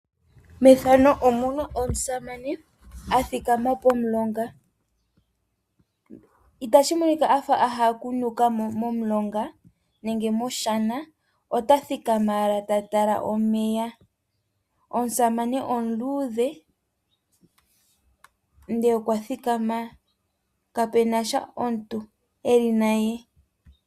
Methano omuna omusamane athikama pomulonga. Ita shi monika afa aha oku nukamo momulonga nenge moshana, ota thikama ala tatala omeya. Omusamane oludhe nde okwathikama, kapenasha omuntu eli naye.